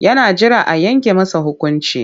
Yana jiran a yanke masa hukunci.